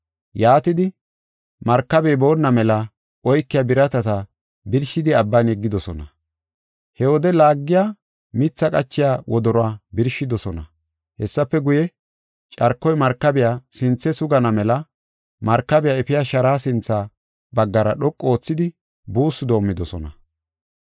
Yaatidi, markabey boonna mela oykiya biratata birshidi abban yeggidosona. He wode laagiya mithaa qachiya wodoruwa birshidosona. Hessafe guye, carkoy markabiya sinthe sugana mela markabiya efiya sharaa sintha baggara dhoqu oothidi buussu doomidosona.